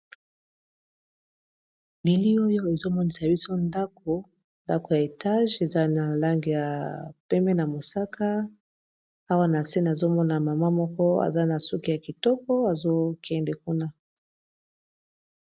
bili oyo ezomonisa biso ndako ndako ya etage eza na lange ya pembe na mosaka awa na se nazomona mama moko aza na suki ya kitoko azokende kuna